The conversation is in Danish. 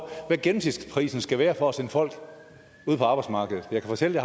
hvad gennemsnitsprisen skal være for at sende folk ud på arbejdsmarkedet jeg kan fortælle